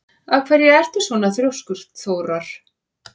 Af hverju ertu svona þrjóskur, Þórar?